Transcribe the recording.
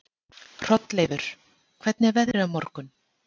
Hrolleifur, hvernig er veðrið á morgun?